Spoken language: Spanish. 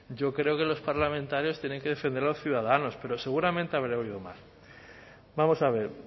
yo creo que los parlamentarios tienen que defender a los ciudadanos pero seguramente habré oído mal vamos a ver